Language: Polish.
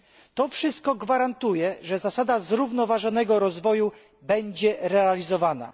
To wszystko gwarantuje, że zasada zrównoważonego rozwoju będzie realizowana.